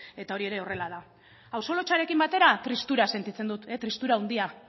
eta hau ere horrela da auzo lotsarekin batera tristura sentitzen dut tristura handia